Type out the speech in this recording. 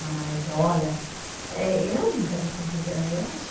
Mas, olha, eh eu não quero essa vida, eu